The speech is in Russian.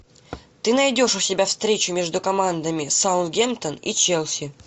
ты найдешь у себя встречу между командами саутгемптон и челси